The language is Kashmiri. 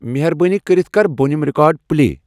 مہربٲنی کٔرِتھ کر بٔنِم ریکارڈ پلے ۔